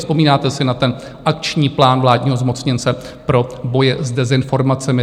Vzpomínáte si na ten akční plán vládního zmocněnce pro boj s dezinformacemi?